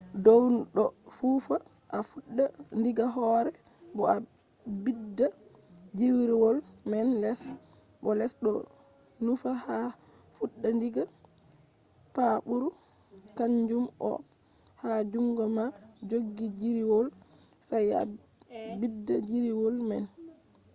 dow do nufa a fudda diga hoore bo a bidda jiriiwol man les bo les do nufa a fudda diga paaburukanjum on ha jungo ma jogi jiriiwol sai a bidda jiriiwol man